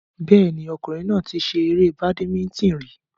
Bẹ́ẹ̀ni, ọkùnrin náà ti ṣe eré badimítìn rí